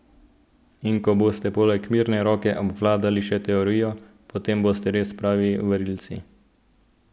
In ko boste poleg mirne roke obvladali še teorijo, potem boste res pravi varilci.